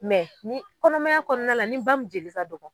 Mɛ ni kɔnɔmaya kɔnɔna la ni ba min jeli ka dɔgɔ